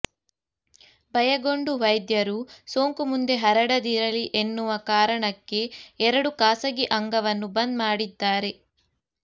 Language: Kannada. ಭಯಗೊಂಡ ವೈದ್ಯರು ಸೋಂಕು ಮುಂದೆ ಹರಡದಿರಲಿ ಎನ್ನುವ ಕಾರಣಕ್ಕೆ ಎರಡೂ ಖಾಸಗಿ ಅಂಗವನ್ನು ಬಂದ್ ಮಾಡಿದ್ದಾರೆ